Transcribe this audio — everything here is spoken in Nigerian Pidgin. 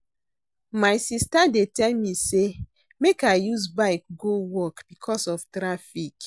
My sista dey tell me sey make I use bike go work because of traffic.